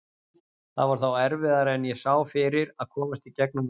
Það var þó erfiðara en ég sá fyrir að komast í gegnum vorið.